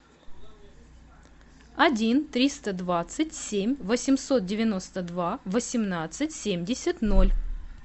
один триста двадцать семь восемьсот девяносто два восемнадцать семьдесят ноль